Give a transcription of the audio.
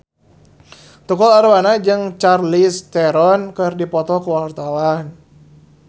Tukul Arwana jeung Charlize Theron keur dipoto ku wartawan